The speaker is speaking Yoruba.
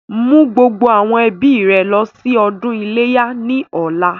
Mú gbogbo àwọn ẹbí rẹ lọ sí ọdún iléyá ni ọ̀la!